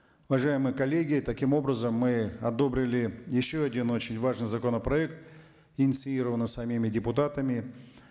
уважаемые коллеги таким образом мы одобрили еще один очень важный законопроект инициированный самими депутатами